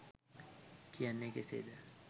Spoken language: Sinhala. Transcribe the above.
කියන්නේ කෙසේද?